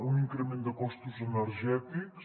un increment de costos energètics